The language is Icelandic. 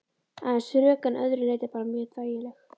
Aðeins rök en að öðru leyti bara mjög þægileg?